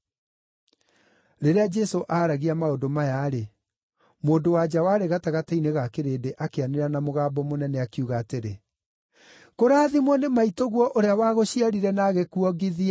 Rĩrĩa Jesũ aaragia maũndũ maya-rĩ, mũndũ-wa-nja warĩ gatagatĩ-inĩ ga kĩrĩndĩ akĩanĩrĩra na mũgambo mũnene, akiuga atĩrĩ, “Kũrathimwo nĩ maitũguo ũrĩa wagũciarire na agĩkuongithia.”